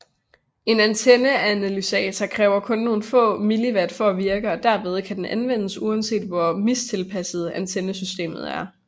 En antenneanalysator kræver kun nogle få milliwatt for at virke og derfor kan den anvendes uanset hvor mistilpasset antennesystemet er